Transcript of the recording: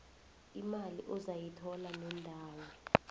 imali ozayithola nendawo